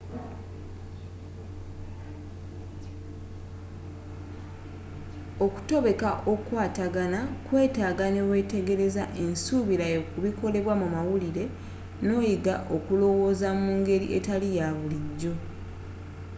okutobeka okukwatagana kwetaaga newetegereza ensubirayo ku bikolebwa mu mawulire noyiga okulowooza mu ngeri etali ya bulijjo